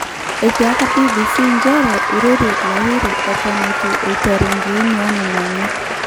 Etiaka BBC njere eirorie Lahiri eton etu eiteru inkiini onena onyek.